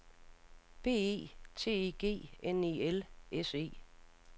B E T E G N E L S E